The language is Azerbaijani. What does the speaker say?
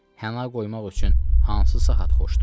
Həna qoymaq üçün hansı saat xoşdur?